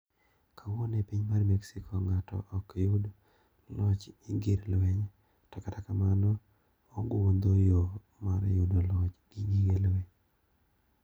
Kawuono e piny mar mexico ngato ok yud loch gi gir lweny to kata kamano ogundho yo mar yudo loch gi gige lweny.